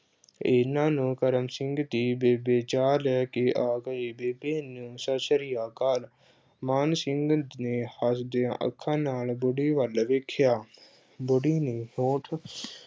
ਏਨੇ ਨੂੰ ਕਰਮ ਸਿੰਘ ਦੀ ਬੇਬੇ ਚਾਹ ਲੈ ਕੇ ਆ ਗਈ ਬੇਬੇ ਨ ਅਹ ਸਤਿ ਸ਼੍ਰੀ ਅਕਾਲ ਮਾਨ ਸਿੰਘ ਨੇ ਹੱਸਦੀਆਂ ਅੱਖਾਂ ਨਾਲ ਬੁੜੀ ਵੱਲ ਵੇਖਿਆ ਬੁੜੀ ਦੇ ਹੌਂਠ